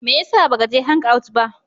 Me ya sa ba ka je hangout ba?